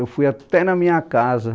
Eu fui até na minha casa.